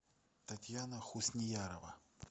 татьяна хусниярова